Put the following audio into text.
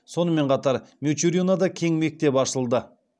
сонымен қатар мичуринода кең мектеп ашылды